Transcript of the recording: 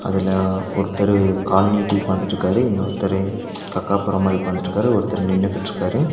அதுல ஒருத்தரு கால் நீட்டி உக்காந்துட்ருக்காரு இன்னொருத்தரு கக்கா போறமாரி உக்காந்துட்ருக்காரு ஒருத்தர் நின்னுகிட்ருக்காரு.